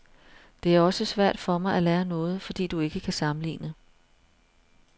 Det er også svært for mig at lære noget, fordi du ikke kan sammenligne.